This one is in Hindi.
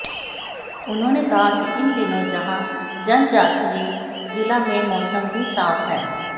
उन्होंने कहा है कि इनदिनों जहां जनजातीय जिला में मौसम भी साफ है